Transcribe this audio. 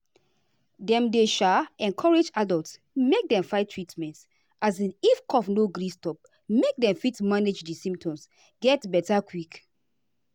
dem dey um encourage adults make dem find treatment um if cough no gree stop make dem fit manage di symptoms get beta quick.